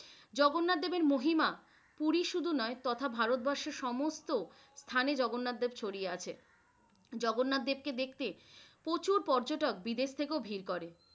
জগন্নাথ দেবের মহিমা পুরি শুধু নয়, তথা ভারতবর্ষের সমস্ত স্থানে জগন্নাথ দেব ছড়িয়ে আছে। জগন্নাথ দেবকে দেখতে প্রচুর পর্যটক বিদেশ থেকেও ভিড় করে।